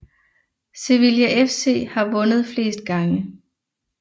Sevilla FC har vundet flest gange